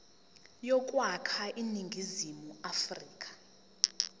yokwakha iningizimu afrika